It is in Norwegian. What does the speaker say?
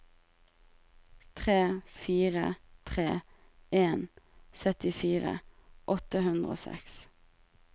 tre fire tre en syttifire åtte hundre og seks